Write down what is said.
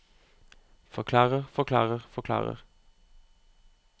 forklarer forklarer forklarer